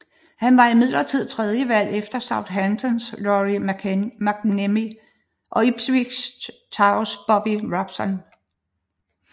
Han var imidlertid tredjevalg efter Southamptons Lawrie McMennemy og Ipswich Towns Bobby Robson